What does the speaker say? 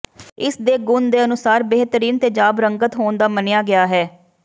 ਇਸ ਦੇ ਗੁਣ ਦੇ ਅਨੁਸਾਰ ਬੇਹਤਰੀਨ ਤੇਜਾਬ ਰੰਗਤ ਹੋਣ ਦਾ ਮੰਨਿਆ ਗਿਆ ਹੈ